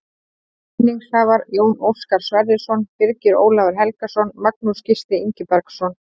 Vinningshafar: Jón Óskar Sverrisson Birgir Ólafur Helgason Magnús Gísli Ingibergsson